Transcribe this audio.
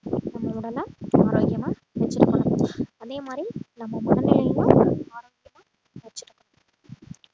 நம்ம உடலை ஆரோக்கியமா வெச்சிருக்கணும் அதே மாதிரி நம்ம மனநிலையையும் ஆரோக்கிய வெச்சிருக்கணும்